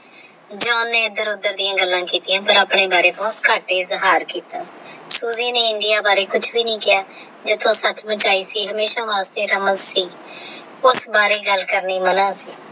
ਜੋ ਉਨ੍ਹੇ ਇੱਧਰ ਉੱਧਰ ਦੀਆ ਗੱਲਾਂ ਕੀਤੀਆਂ ਪਰ ਆਪਣੇ ਬਾਰੇ ਬਹੁਤ ਘੱਟ ਹੀ ਇਜਹਾਰ ਕਿੱਤਾ ਨੇ India ਬਾਰੇ ਕੁਝ ਕਹਿਆ ਜਿੱਥੋਂ ਤਕ ਪਹੁੰਚੀ ਸੀ ਹਮੇਸ਼ਾ ਵਾਸਤੇ ਸੀ ਉਸ ਬਾਰੇ ਗੱਲ ਕਰਨੀ ਮਾਨਾ ਸੀ।